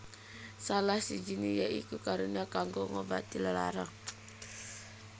Salah sijiné ya iku karunia kanggo ngobati lelara